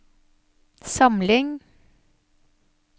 samling